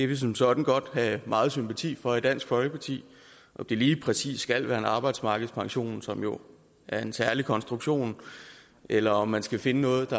vi som sådan godt have meget sympati for i dansk folkeparti om det lige præcis skal være en arbejdsmarkedspension som jo er en særlig konstruktion eller om man skal finde noget